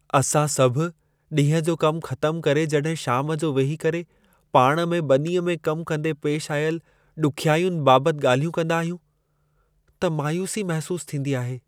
असां सभु ॾींहं जो कमु ख़तम करे जॾहिं शाम जो वेही करे पाण में ॿनीअ में कम कंदे पेश आयल ॾुखियाइयुनि बाबति ॻाल्हियूं कंदा आहियूं, त मायूसी महिसूस थींदी आहे।